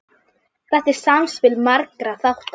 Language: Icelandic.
Þetta er samspil margra þátta.